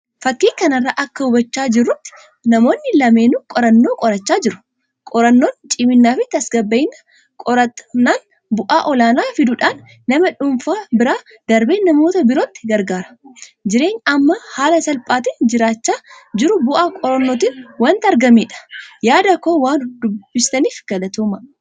Fakkii kanarraa akka hubachaa jirutti namoonni lameenuu qorannoo qorachaa jiru. Qorannoon ciminaa fi tasgabbiin qoratamnaan bu'aa ol'aanaa fiduudhaan nama dhuunfaa bira darbee namoota birootuu gargaara. Jireenyi amma haala salphaatiin jiraachaa jirru bu'aa qorannootin wanta argameedha. Yaada koo waan dubbiftaniif galatoomaa.